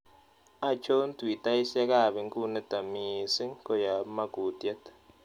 Achon twitaiisiekap inkuniton miising' koyap makuutyet